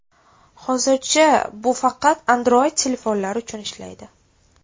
Hozircha bu faqat Android telefonlar uchun ishlaydi.